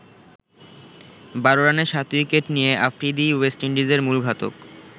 ১২ রানে ৭ উইকেট নিয়ে আফ্রিদিই ওয়েস্ট ইন্ডিজের মূল ঘাতক।